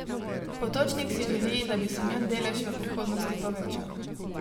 Potočnik si želi, da bi se njun delež v prihodnosti povečal.